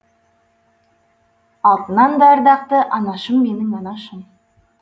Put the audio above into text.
алтыннан да ардақты анашым менің анашым